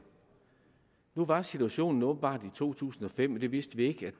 nu var situationen åbenbart den i to tusind og fem og det vidste vi ikke at